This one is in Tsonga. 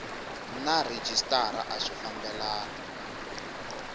na rhejisitara a swi fambelani